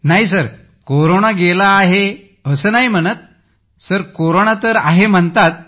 नाही कोरोना गेला आहे असं नाही म्हणत सर कोरोना तर आहे बोलतात